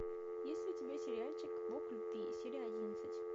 есть ли у тебя сериальчик бог любви серия одиннадцать